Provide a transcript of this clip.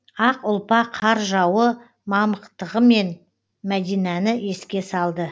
ақ ұлпа қар жауы мамықтығымен мәдинані еске салды